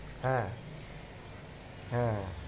হ্যাঁ হ্যাঁ